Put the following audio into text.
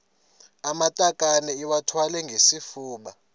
amatakane iwathwale ngesifuba